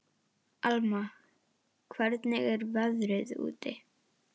Alma, hvernig er veðrið úti?